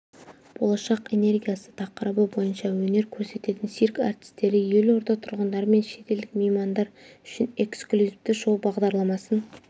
болашақ энергиясы тақырыбы бойынша өнер көрсететін цирк әртістері елорда тұрғындары мен шетелдік меймандар үшін эксклюзивті шоу-бағдарламасын